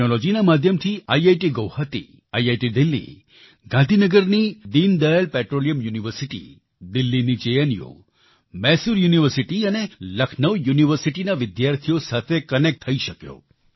ટેક્નોલોજીના માધ્યમથી ઇટગુવાહાટી આઇઆઇટીડેલહી ગાંધીનગરની દીનદયાલ પેટ્રોલિયમ યુનિવર્સિટી દિલ્હીની જેએનયુ માયસોર યુનિવર્સિટી અને લખનૌ યુનિવર્સિટીના વિદ્યાર્થીઓ સાથે કનેક્ટ થઈ શક્યો